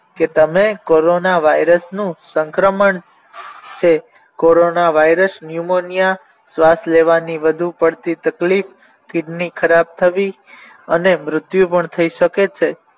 કે તમે કોરોના વાયરસનું સંક્રમણ છે કોરોનાવાયરસ ન્યુમોનિયા શ્વાસ લેવાની વધુ પડતી તકલીફ કિડની ખરાબ થવી અને મૃત્યુ પણ થઈ શકે છે